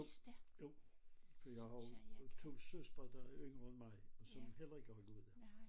Jo jo for jeg har jo 2 søstre der er yngre end mig og som heller ikke har gået der